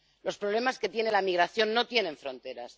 Los problemas de la migración no tienen fronteras.